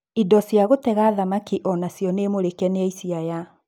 Indo cia gũtega thamaki onacio nĩ mũrĩke nĩ aici aya.